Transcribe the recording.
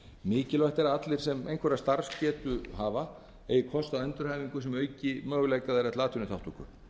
mikilvægt er að allir sem einhverja starfsgetu hafa eigi kost á endurhæfingu sem auka möguleika þeirra til atvinnuþátttöku